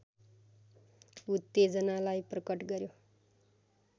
उत्तेजनालाई प्रकट गर्‍यो